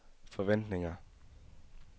forventninger